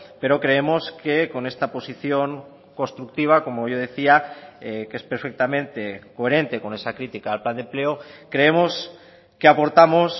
pero creemos que con esta posición constructiva como yo decía que es perfectamente coherente con esa crítica al plan de empleo creemos que aportamos